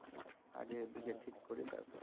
আগে এদিকে ঠিক করি তারপর